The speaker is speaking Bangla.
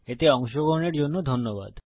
এতে অংশগ্রহনের জন্য ধন্যবাদ